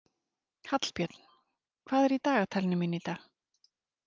Hallbjörn, hvað er í dagatalinu mínu í dag?